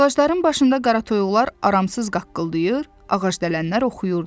Ağacların başında qara toyuqlar aramsız qaqqıldayır, ağacdələnlər oxuyurdu.